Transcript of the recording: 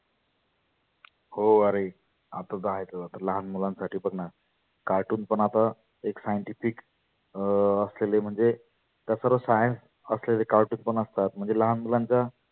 हो आरे आता आहेतच लहान मुलां साठी पण cartoon पण आता एक scientific अं australia म्हणजे तस तर science असलेले cartoon पण असतात. म्हणजे लहान मुलांच्या